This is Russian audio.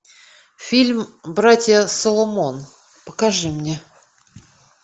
фильм братья соломон покажи мне